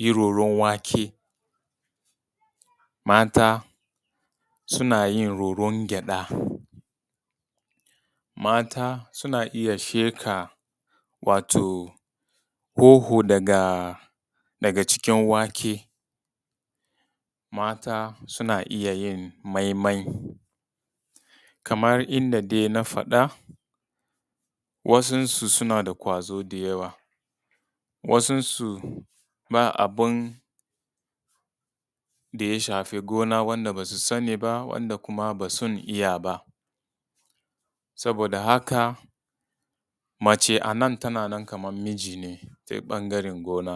yin roran wake, mata suna yin roran gyaɗa, mata suna iya sheƙa wato hoho daga cikin wake, mata suna iya yin mai mai kaman dai yadda na faɗa wasun su suna da ƙwazo da yawa. Wasun su ba abin da ya shafe gonan wanda ba su sani ba, wanda basun iya ba. saboda haka mace a nan tana nan kaman miji ta ɓangaren gona.